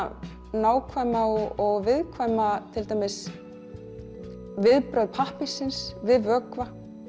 nákvæm og viðkvæm viðbrögð pappírsins við vökva